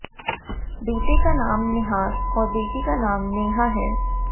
बेटे का नाम निहार और बेटी का नाम नेहा है